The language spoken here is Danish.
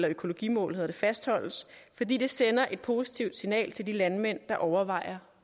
økologimål fastholdes fordi det sender et positivt signal til de landmænd der overvejer